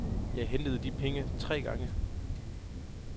Jeg hentede de penge tre gange.